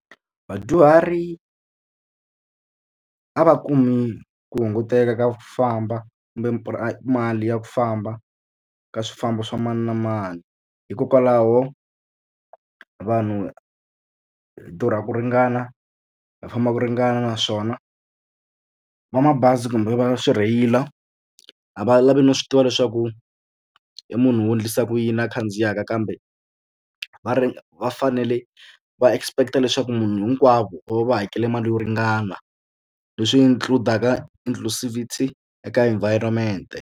Vadyuhari a va kumi ku hunguteka ka ku famba kumbe mali ya ku famba ka swifambo swa mani na mani hikokwalaho vanhu hi durha ku ringana hi famba ku ringana naswona va mabazi kumbe va swi rheyila a va lavi no swi tiva leswaku i munhu wo endlisa ku yini a khandziyaka kambe va ri va fanele va expect leswaku munhu hinkwavo va va va hakele mali yo ringana leswi include-aka inclucivity eka environment.